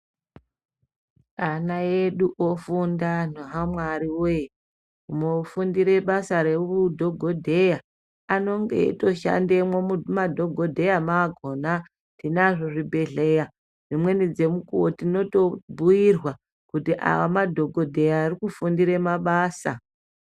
Ana edu ofunda anhu aMwari woye umwe ofundire basa rehudhogodheya anenge eitoshandemo mumadhogodheya maakona tinozvo zvibhedhleya dzemweni dzemukuo tinoite mukuwo wekubhuirwa kuti amadhogodheya arikufundire mabasa.